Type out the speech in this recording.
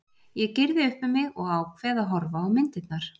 Ég gyrði upp um mig og ákveð að horfa á myndirnar.